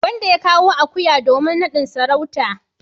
wanda ya kawo akuya domin nadin sarauta.